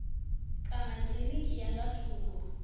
kana kilinikini ya nga thungo